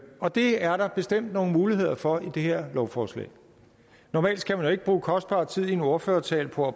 og det er der bestemt nogle muligheder for i det her lovforslag normalt skal man jo ikke bruge kostbar tid i en ordførertale på at